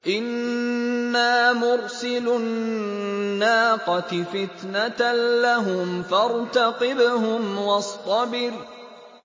إِنَّا مُرْسِلُو النَّاقَةِ فِتْنَةً لَّهُمْ فَارْتَقِبْهُمْ وَاصْطَبِرْ